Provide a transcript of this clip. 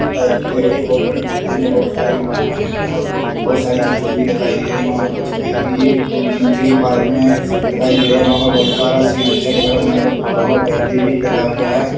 Type की लग रही है बहोत बड़ी बिल्डिंग है बहोत सारे मकान बने हुए है बहोत धुप बहोत सारी खिड़की भी दिखाई रही है वहाँ कुछ मिल भी मिलते हुए पार्क मे दिखाई दे रहे है वहाँ पे बहोत सारा सीन अच्छा देखने को मतलब वहाँ पे हुआ है।